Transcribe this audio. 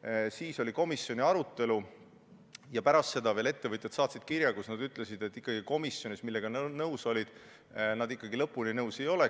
ja siis oli komisjoni arutelu – saatsid ettevõtjad kirja, milles nad ütlesid, et sellega, millega nad komisjonis nõus olid, nad ikkagi lõpuni nõus ei ole.